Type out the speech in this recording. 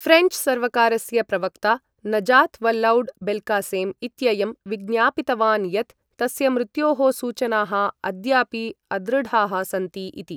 French सर्वकारस्य प्रवक्ता Najat Vallaud Belkacem इत्ययं विज्ञापितवान् यत् तस्य मृत्योः सूचनाः अद्यापि अदृढाः सन्ति इति।